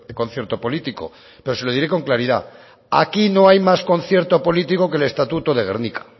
concierto político pero se lo diré con claridad aquí no hay más concierto político que el estatuto de gernika